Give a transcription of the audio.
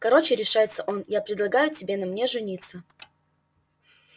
короче решается он я предлагаю тебе на мне жениться